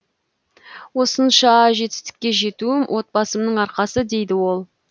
осынша жетістікке жетуім отбасымның арқасы дейді ол